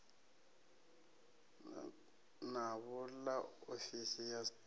navho ḽa ofisi ya sars